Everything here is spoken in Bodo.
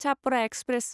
छापरा एक्सप्रेस